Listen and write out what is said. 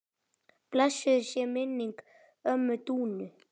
Blessuð sé minning ömmu Dúnu.